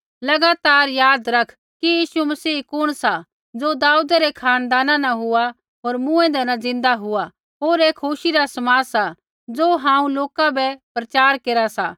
लगातार याद रखा कि यीशु मसीह कुण सा ज़ो दाऊदै रै खानदाना न हुआ होर मूँऐंदै न ज़िन्दा हुआ होर ऐ खुशी रा समाद सा ज़ो हांऊँ लोका बै प्रचार केरा सा